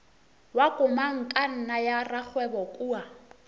wa komangkanna ya rakgwebo kua